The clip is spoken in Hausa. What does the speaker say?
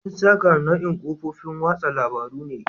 Instagram nau'in kafofin watsa labarun ne.